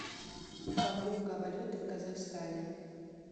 покупка валюты в казахстане